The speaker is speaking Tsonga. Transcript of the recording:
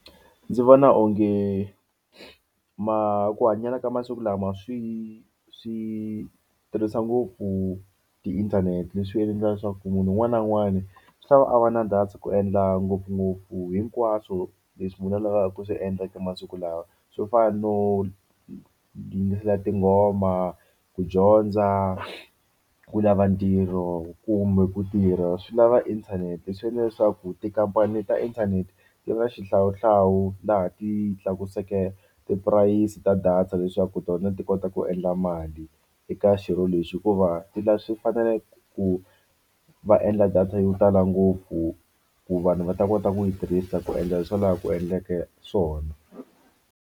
Ndzi vona onge ku hanyela ka masiku lama swi swi tirhisa ngopfu tiinthanete leswi endlaka leswaku munhu un'wana na un'wani swi lava a va na data ku endla ngopfungopfu hinkwaswo leswi munhu a lavaka ku swi endla ka masiku lawa swo fana no yingisela tinghoma, ku dyondza, ku lava ntirho kumbe ku tirha swi lava inthanete swi endla leswaku tikhampani le ta inthanete ti na xihlawuhlawu laha ti tlakuseke tipurayisi ta data leswaku tona ti kota ku endla mali eka xirho lexi hikuva ti ta swi fanele ku va endla data yo tala ngopfu ku vanhu va ta kota ku yi tirhisa ku endla swo laha ku endleke swona.